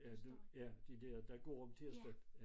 Ja dem ja de dér der går om tirsdagens